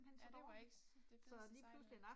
Så det var ikke det fedeste sejl